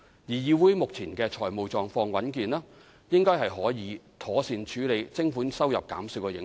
議會目前的財務狀況穩健，應該可以妥善處理徵款收入減少的影響。